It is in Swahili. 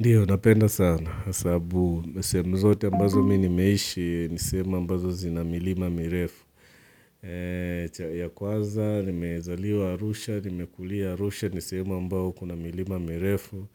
Ndiyo, napenda sana, sabu, sehem zote ambazo mi nimeishi, ni sehemu ambazo zina milima mirefu. Chai ya kwaza, nimezaliwa arusha, nimekulia arusha, ni sehemu ambao kuna milima mirefu.